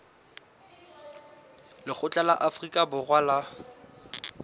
lekgotla la afrika borwa la